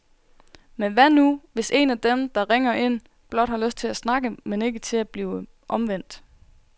Men hvad nu, hvis en af dem, der ringer ind, blot har lyst til at snakke, men ikke til at blive omvendt?